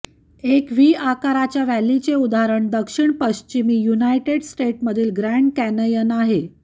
एक व्ही आकाराच्या व्हॅलीचे उदाहरण दक्षिणपश्चिमी युनायटेड स्टेट्समधील ग्रँड कॅनयन आहे